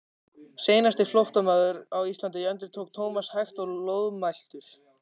Seinasti flóttamaður á Íslandi endurtók Thomas hægt og loðmæltur.